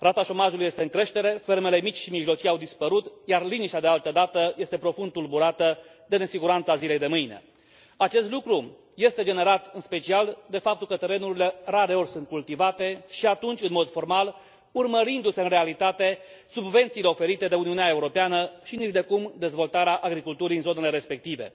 Rata șomajului este în creștere, fermele mici și mijlocii au dispărut, iar liniștea de altădată este profund tulburată de nesiguranța zilei de mâine. Acest lucru este generat în special de faptul că terenurile rareori sunt cultivate și atunci în mod formal, urmărindu se în realitate subvențiile oferite de Uniunea Europeană și nicidecum dezvoltarea agriculturii în zonele respective.